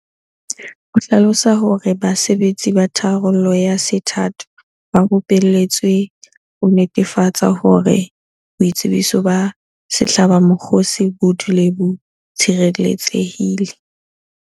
O hlalosa hore basebetsi ba tharollo ya sethatho ba rupeletswe ho netefatsa hore boitsebiso ba sehlabamokgosi bo dule bo tshireletsehile.